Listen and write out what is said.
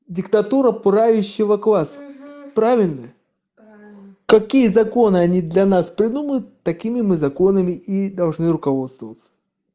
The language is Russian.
диктатура правящего класса правильно правильно какие законы они для нас придумают такими мы законами и должны руководствоваться